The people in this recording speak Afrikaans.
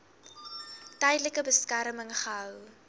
tydelike beskerming gehou